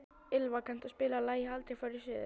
Ylva, kanntu að spila lagið „Aldrei fór ég suður“?